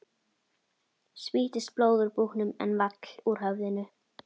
Spýttist blóð úr búknum en vall úr höfðinu.